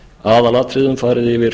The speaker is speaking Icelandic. aðalatriðum farið yfir